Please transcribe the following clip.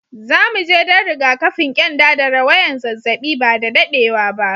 Zu mu je dan rigakafin kyanda da rawayan zazzabi ba da daddewa ba.